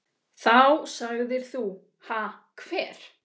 Þá sagðir þú: Ha hver?